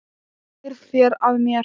Snýrð þér að mér.